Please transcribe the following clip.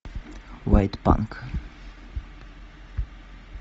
вайт панк